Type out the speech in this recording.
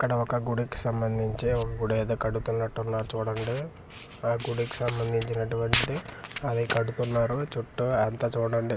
ఇక్కడ ఒక గుడికి సంబంధించే ఒక గుడి ఏదో కడుతున్నట్టునారు చూడండి ఆ గుడికి సంబంధించినటువంటిది అది కడుతున్నారు చుట్టూ అంతా చూడండి.